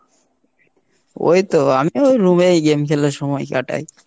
ওইতো আমিও ওই room এই game খেলে সময় কাটাই।